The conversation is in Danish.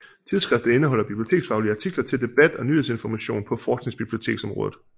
Tidsskriftet indeholder biblioteksfaglige artikler til debat og nyhedsinformation på forskningsbiblioteksområdet